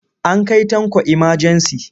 An kai Tanko imajensi.